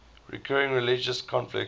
recurring religious conflicts